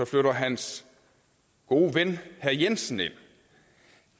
flytter hans gode ven herre jensen ind